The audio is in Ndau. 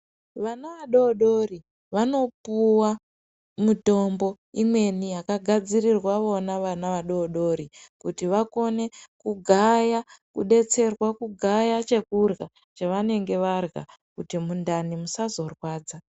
Vana vadodori vanopuwa mitombo imweni yakagadzirrirwa vona vana vadodori kuti vakone kugaya kudetserwa kugaya chekurya kuti mundani musazorwadza.